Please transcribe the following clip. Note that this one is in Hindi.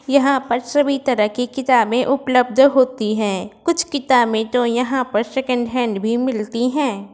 यहां पर सभी तरह के किताबें उपलब्ध होती है। कुछ किताबें तो यहां पर सेकेंड हैंड भी मिलती है।